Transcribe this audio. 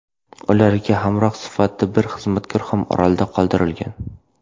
Ularga hamroh sifatida bir xizmatkor ham orolda qoldirilgan.